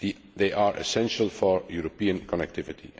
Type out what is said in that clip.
region. They are essential for European connectivity.